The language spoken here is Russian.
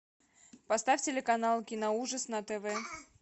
поставь телеканал киноужас на тв